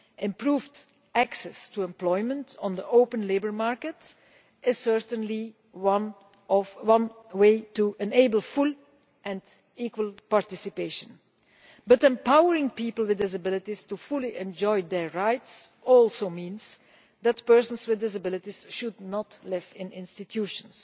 Improving access to employment on the open labour market is certainly one way to enable full and equal participation, but empowering people with disabilities to enjoy their rights fully also means that persons with disabilities should not live in institutions.